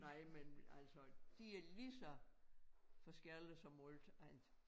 Nej men altså de er lige så forskellige som alt andet